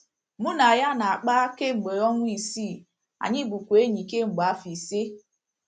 “ Mụ na ya na - akpa kemgbe ọnwa isi, anyị bụkwa enyi kemgbe afọ ise.